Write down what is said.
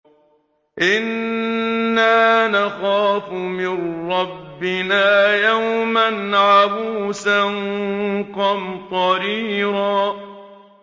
إِنَّا نَخَافُ مِن رَّبِّنَا يَوْمًا عَبُوسًا قَمْطَرِيرًا